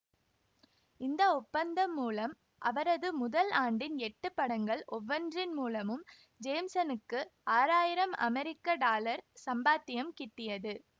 இந்த ஒப்பந்தம் மூலம் அவரது முதல் ஆண்டின் எட்டு படங்கள் ஒவ்வொன்றின் மூலமும் ஜேம்சனுக்கு ஆறாயிரம் அமெரிக்க டாலர் சம்பாத்தியம் கிட்டியது